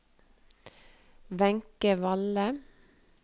Wenche Valle